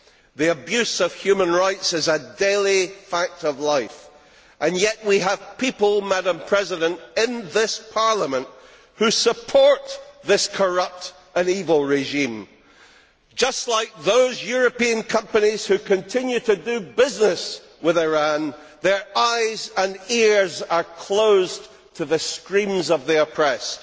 The abuse of human rights is a daily fact of life, and yet we have people in this Parliament who support this corrupt and evil regime just like those European companies which continue to do business with Iran, their eyes and ears are closed to the screams of the oppressed.